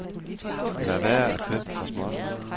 Lad være at købe for småt.